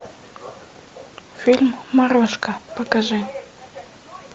фильм морозко покажи